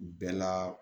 Bɛɛ la